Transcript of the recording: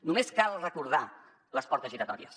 només cal recordar les portes giratòries